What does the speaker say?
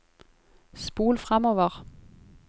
spol framover